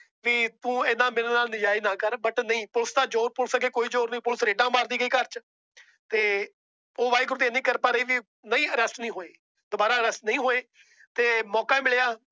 ਵੀ ਤੂੰ ਏਦਾਂ ਮੇਰੇ ਨਾਲ ਨਾਜਾਇਜ਼ ਨਾ ਕਰ। But ਨਹੀਂ ਪੁਲਿਸ ਤਾਂ ਪੁਲਿਸ ਅੱਗੇ ਕੋਈ ਜ਼ੋਰ ਨਹੀਂ। ਪੁਲਿਸ ਤਾਂ ਰੇਡਾ ਮਾਰਦੀ ਰਹੀ ਘਰ ਵਿੱਚ। ਤੇ ਉਹ ਵਾਹਿਗੁਰੂ ਦੀ ਏਨੀ ਕਿਰਪਾ ਰਹੀ ਨਹੀਂ Arrest ਨਹੀ ਹੋਏ। ਦੁਬਾਰਾ Arrest ਨਹੀਂ ਹੋਏ ਮੌਕਾ ਮਿਲਿਆ